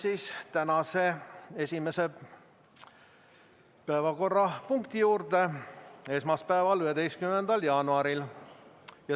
Läheme tänase, esmaspäeva, 11. jaanuari esimese päevakorrapunkti juurde.